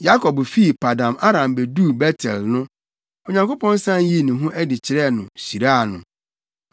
Yakob fi Paddan-Aram beduu Bet-El no, Onyankopɔn san yii ne ho adi kyerɛɛ no, hyiraa no.